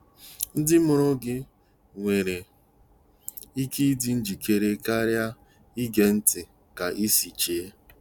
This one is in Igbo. Ndị mụrụ gị nwere ike ịdị njikere karịa ige ntị ka ịsi chee.